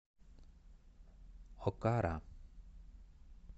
окара